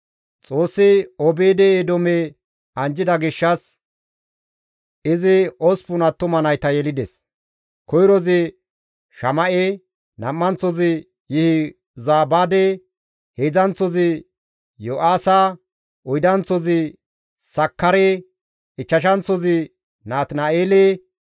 Xoossi Obeed-Eedoome anjjida gishshas izi osppun attuma nayta yelides; koyrozi Shama7e, nam7anththozi Yihozabaade, heedzdzanththozi Yo7aaha, oydanththozi Sakkare, ichchashanththozi Natina7eele,